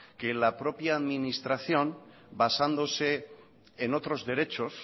que en la propia administración basándose en otros derechos